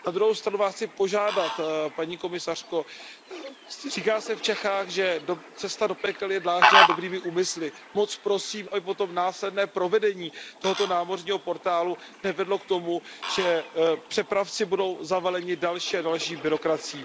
Na druhou stranu Vás chci požádat, paní komisařko, říká se v Čechách, že cesta do pekel je dlážděna dobrými úmysly. Moc prosím, aby potom následné provedení tohoto námořního portálu nevedlo k tomu, že přepravci budou zavaleni další a další byrokracií.